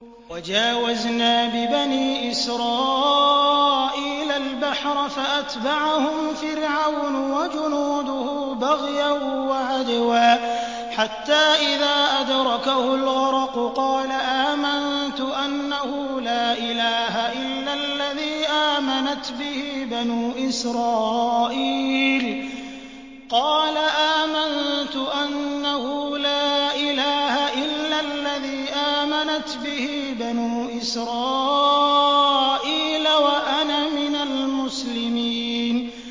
۞ وَجَاوَزْنَا بِبَنِي إِسْرَائِيلَ الْبَحْرَ فَأَتْبَعَهُمْ فِرْعَوْنُ وَجُنُودُهُ بَغْيًا وَعَدْوًا ۖ حَتَّىٰ إِذَا أَدْرَكَهُ الْغَرَقُ قَالَ آمَنتُ أَنَّهُ لَا إِلَٰهَ إِلَّا الَّذِي آمَنَتْ بِهِ بَنُو إِسْرَائِيلَ وَأَنَا مِنَ الْمُسْلِمِينَ